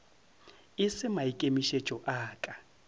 e se maikemišetšo a ka